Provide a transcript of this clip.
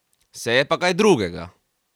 Se je pa kaj drugega!